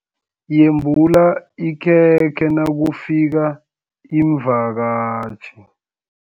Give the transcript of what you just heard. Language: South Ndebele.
Yembula ikhekhe nakufika iimvakatjhi.